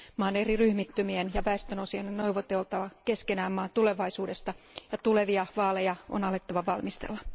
Maan eri ryhmittymien ja väestön osien on neuvoteltava keskenään maan tulevaisuudesta ja tulevia vaaleja on alettava valmistella.